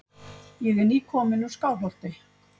Ég er nýkominn úr Skálholti.